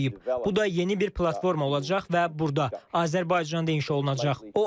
Bu da yeni bir platforma olacaq və burda Azərbaycanda inşa olunacaq.